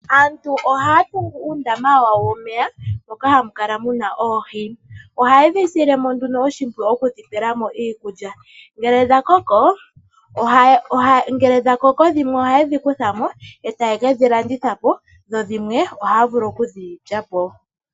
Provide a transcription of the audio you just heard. Aantu ohaya tungu uundama wawo womeya moka hamu kala mu na oohi. Ohaye dhi sile mo nduno oshimpwiyu oku dhi pela mo iikulya. Ngele dha koko dhimwe ohaye dhi kutha mo yo taye ke dhi landitha po dho dhimwe ohaa vulu oku dhi lya po.